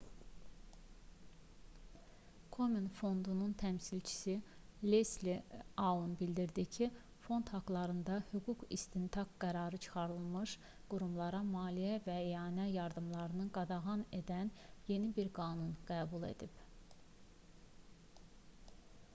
komen fondunun təmsilçisi lesli aun bildirdi ki fond haqlarında hüquqi istintaq qərarı çıxarılmış qurumlara maliyyə və ianə yardımlarını qadağan edən yeni bir qanun qəbul edib